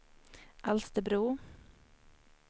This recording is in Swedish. Alsterbro